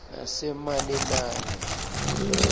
nasemalelane